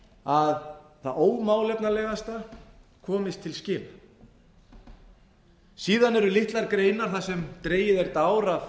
að það ómálefnalegasta komist til skila síðan eru litlar greinar þar sem dregið er dár að